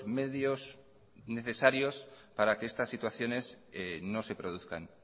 medios necesarios para que estas situaciones no se produzcan